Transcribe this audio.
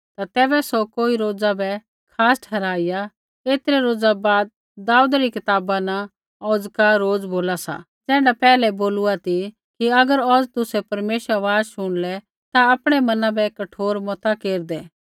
ता तैबै सौ कोई रोज़ा बै खास ठहराइया ऐतरै रोज़ा बाद दाऊदै री कताबा न औज़का रोज़ बोला सा ज़ैण्ढा पैहलै बोलूआ ती कि अगर औज़ तुसै परमेश्वरा री आवाज़ शुणलै ता आपणै मना बै कठोर मता केरदै